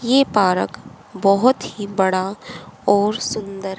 यह पार्क बहोत ही बड़ा और सुंदर--